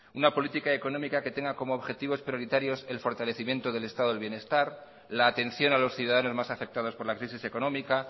una política económica que tenga como objetivos prioritarios el fortalecimiento del estado del bienestar la atención a los ciudadanos más afectados por la crisis económica